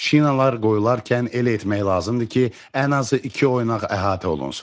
Şinalar qoyarkən elə etmək lazımdır ki, ən azı iki oynaq əhatə olunsun.